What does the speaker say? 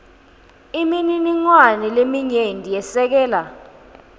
imininingwane leminyenti yesekela